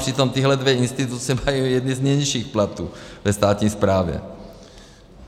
Přitom tyhle dvě instituce mají jedny z nejnižších platů ve státní správě.